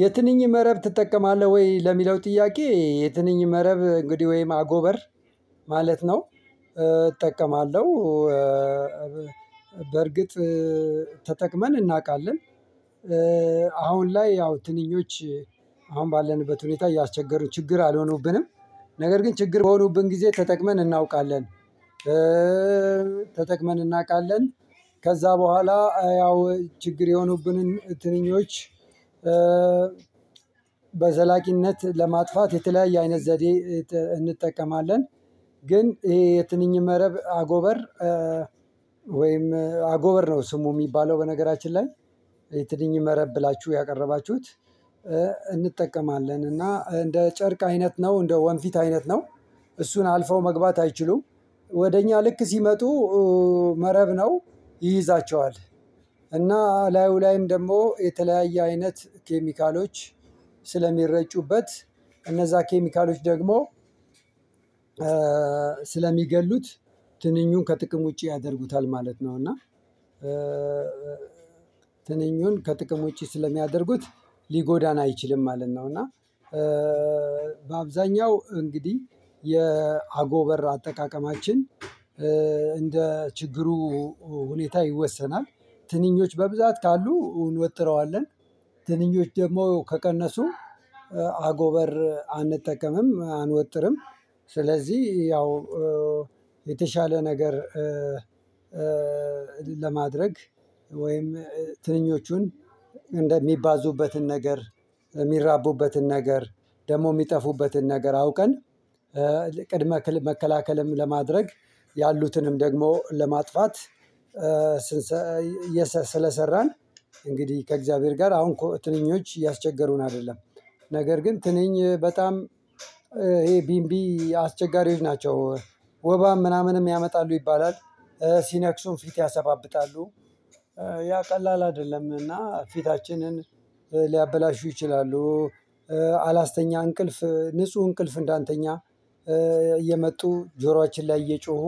የትንኝ መረብ ትጠቀማለህ ወይ? ለሚለው ጥያቄ የትንኝ መረብ እንግዲህ ወይም አጎበር ማለት ነው። እጠቀማለሁ። በርግጥ ተጠቅመን እናውቃለን። አሁን ላይ ያው ትንኞች አሁን ባለንበት ሁኔታ እያስቸገሩ ችግር አልሆኑብንም ነገር ግን ችግር በሆኑብን ጊዜ ተጠቅመን እናውቃለን። ተጠቅመን እናውቃለን ከዛ በኋላ ያው ችግር የሆኑብንን ትንኞች። በዘላቂነት ለማጥፋት የተለያየ አይነት ዘዴ እንጠቀማለን። ግን ይሄ የትንኝ መረብ አጎበር ወይም አጎበር ነው ስሙ እሚባለው በነገራችን ላይ። የትንኝ መረብ ብላችሁ ያቀረባችሁት። እንጠቀማለን እና እንደ ጨርቅ አይነት ነው እንደ ወንፊት አይነት ነው። እሱን አልፈው መግባት አይችሉም። ወደ እኛ ልክ ሲመጡ። መረብ ነው ይይዛቸዋል። እና እላዩ ላይም ደግሞ የተለያየ አይነት ኬሚካሎች ስለሚረጩበት እነዛ ኬሚካሎች ደግሞ ስለሚገድሉት ትንኙን ከጥቅም ውጪ ያደርጉታል። ማለት ነው። እና ትንኙን ከጥቅም ውጪ ስለሚያደርጉት ሊጎዳን አይችልም ማለት ነው። እና በአብዛኛው እንግዲህ የአጎበር አጠቃቀማችን እንደ ችግሩ ሁኔታ ይወሰናል። ትንኞች በብዛት ካሉ እንውጥረዋለን። ትንኞች ደግሞ ከቀነሱ አጎበር አንጠቀምም አንወጥርም። ስለዚህ ያው የተሻለ ነገር ለማድረግ ወይም ትንኞቹን እንደሚባዙበትን ነገር የሚራቡበትን ነገር ደግሞ እሚጠፉበትን ነገር አውቀን ቅድመ መከላከልም ለማድረግ ያሉትንም ደግሞ ለማጥፋት። ስለሰራን እንግዲህ ከእግዚአብሔር ጋር አሁን እኮ ትንኞች እያስቸገሩን አይደለም። ነገር ግን ትንኝ በጣም ይሄ ቢንቢ አስቸጋሪዎች ናቸው። ወባም ምናምንም ያመጣሉ ይባላል። ሲነክሱን ፊት ያሰባብጣሉ። ያ ቀላል አይደለም። እና ፊታችንን ሊያበላሹ ይችላሉ። አላስተኛ እንቅልፍ ንጹህ እንቅልፍ እንዳንተኛ እየመጡ ጆሯችን ላይ እየጮሁ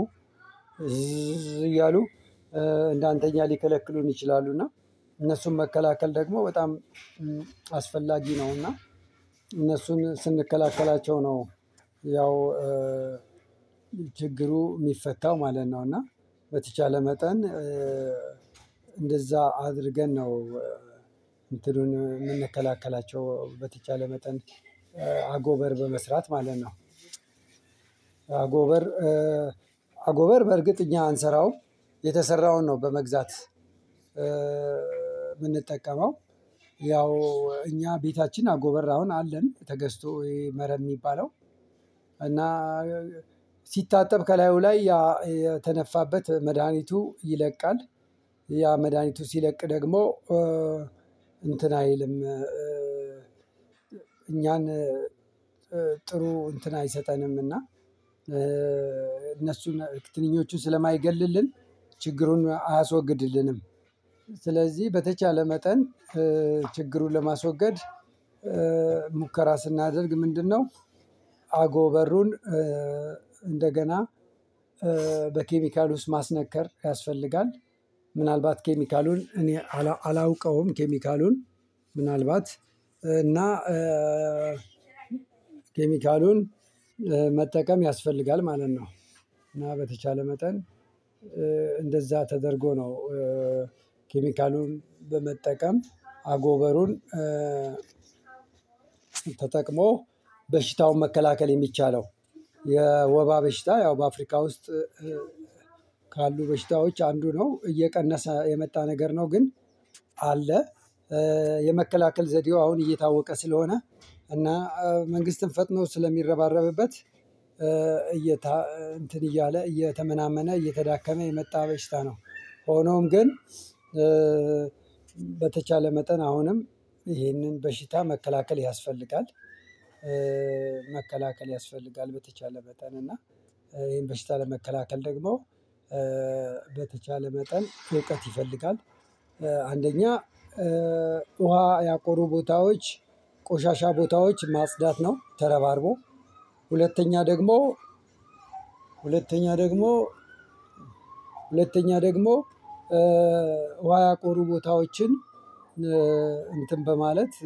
እዚህ እዚህ እያሉ እንዳንተኛ ሊከለክሉን ይችላሉ። እና እነሱን መከላከል ደግሞ በጣም አስፈላጊ ነው። እና እነሱን ስንከላከላቸው ነው። ያው ችግሩ እሚፈታው ማለት ነው። እና በተቻለ መጠን እንደዛ አድርገን ነው። እንትኑን የምንከላከላቸው በተቻለ መጠን አጎበር በመስራት ማለት ነው። አጎበር አጎበር በእርግጥ እኛ አንሰራውም። የተሰራውን ነው በመግዛት እምንጠቀመው ያው እኛ ቤታችን አጎበር አሁን አለን ተገዝቶ መረብ እሚባለው። እና ሲታጠብ ከላዩ ላይ ያ የተነፋበት መድሃኒቱ ይለቃል። ያ መድሃኒቱ ሲለቅ ደግሞ እንትን አይልም። እኛን ጥሩ እንትን አይሰጠንምና። እነሱን ትንኞቹን ስለማይገልልን ችግሩን አያስወግድልንም። ስለዚህ በተቻለ መጠን ችግሩን ለማስወገድ ሙከራ ስናደርግ ምንድነው? አጎበሩን እንደገና በኬሚካል ውስጥ ማስነከር ያስፈልጋል። ምናልባት ኬሚካሉን እኔ አላውቀውም ኬሚካሉን ምናልባት እና ኬሚካሉን መጠቀም ያስፈልጋል ማለት ነው። እና በተቻለ መጠን እንደዛ ተደርጎ ነው። ኬሚካሉን በመጠቀም አጎበሩን ተጠቅሞ በሽታውን መከላከል የሚቻለው የወባ በሽታ ያው በአፍሪካ ውስጥ ካሉ በሽታዎች አንዱ ነው። እየቀነሰ የመጣ ነገር ነው። ግን አለ የመከላከል ዘዴው አሁን እየታወቀ ስለሆነ እና መንግስትም ፈጥኖ ስለሚረባረብበት እየ እንትን እያለ እየተመናመነ እየተዳከመ የመጣ በሽታ ነው። ሆኖም ግን በተቻለ መጠን አሁንም ይህንን በሽታ መከላከል ያስፈልጋል። መከላከል ያስፈልጋል በተቻለ መጠን እና ይሄን በሽታ ለመከላከል ደግሞ በተቻለ መጠን እውቀት ይፈልጋል። አንደኛ ውሃ ያቆሩ ቦታዎች ቆሻሻ ቦታዎች ማጽዳት ነው። ተረባርቦ ሁለተኛ ደግሞ ሁለተኛ ደግሞ ሁለተኛ ደግሞ ውሃ ያቆሩ ቦታዎችን እንትን በማለት